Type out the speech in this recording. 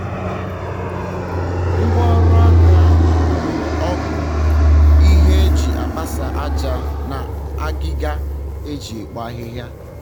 ngwa ọrụ aka ahụ gunyere ọgụ ihe eji akpasa aja na agiga eji ekpo ahịhịa